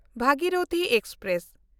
Bhagirathi express